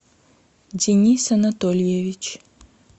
денис анатольевич